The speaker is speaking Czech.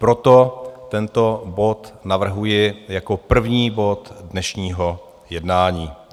Proto tento bod navrhuji jako první bod dnešního jednání.